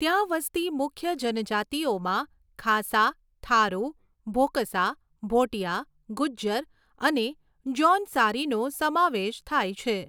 ત્યાં વસતી મુખ્ય જનજાતિઓમાં ખાસા, થારુ, ભોકસા, ભોટીયા, ગુજ્જર અને જૌનસારીનો સમાવેશ થાય છે.